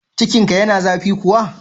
Cikinka yana zafi kuwa?